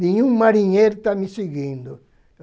Nenhum marinheiro está me seguindo.